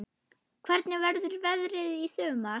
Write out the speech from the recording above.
Hvernig verður veðrið í sumar?